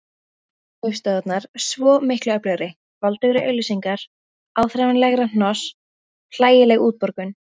Ferðaskrifstofunnar svo miklu öflugri: voldugri auglýsingar, áþreifanlegra hnoss, hlægileg útborgun.